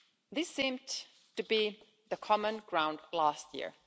This seemed to be the common ground last year.